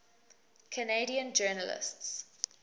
canadian journalists